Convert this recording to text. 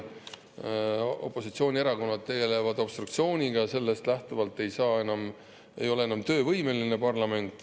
Kuna opositsioonierakonnad tegelevad obstruktsiooniga, siis parlament ei ole enam töövõimeline.